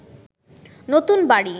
নতুন বাড়ি